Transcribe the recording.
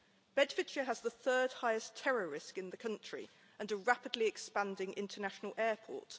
Bedfordshire has the third-highest terror risk in the country and a rapidly expanding international airport.